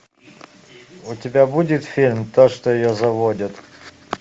у тебя будет фильм то что ее заводит